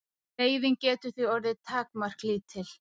Reiðin getur því orðið takmarkalítil.